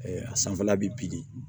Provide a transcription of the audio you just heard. a sanfɛla bi di